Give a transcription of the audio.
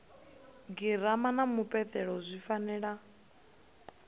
girama na mupeleto zwi fanela